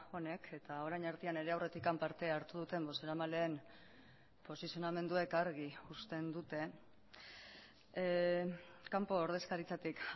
honek eta orain artean nire aurretik parte hartu duten bozeramaleen posizionamenduek argi uzten dute kanpo ordezkaritzatik